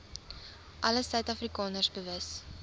alle suidafrikaners bewus